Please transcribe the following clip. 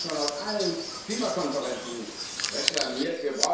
Das haben wir schon auf allen Klimakonferenzen reklamiert.